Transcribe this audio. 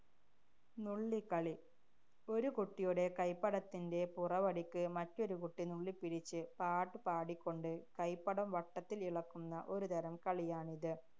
നുള്ളിക്കളി. ഒരു കുട്ടിയുടെ കൈപ്പടത്തിന്‍റെ പുറവടിക്ക് മറ്റൊരു കുട്ടി നുള്ളിപ്പിരിച്ച്, പാട്ടുപാടിക്കൊണ്ട് കൈപ്പടം വട്ടത്തില്‍ ഇളക്കുന്ന ഒരുതരം കളിയാണിത്.